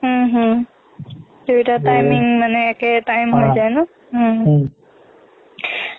হম হম দুয়োটা timing মানে একে time ত যায় নহ উম